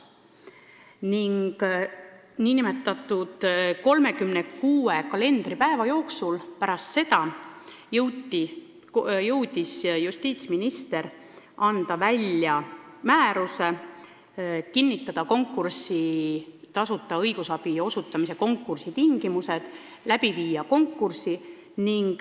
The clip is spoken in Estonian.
Ning 36 kalendripäeva pärast seda oli justiitsminister jõudnud välja anda määruse, kinnitada tasuta õigusabi osutamise konkursi tingimused ja läbi viia konkursi.